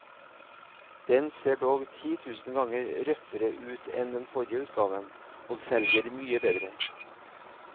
Den ser dog ti tusen ganger røffere ut enn den forrige utgaven, og selger mye bedre.